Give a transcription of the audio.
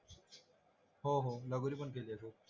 हो हो लगोरी पण खेळलाचो